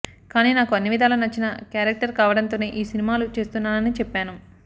కానీ నాకు అన్నివిధాలా నచ్చిన క్యారెక్టర్ కావడంతోనే ఈ సినిమాలు చేస్తున్నానని చెప్పాను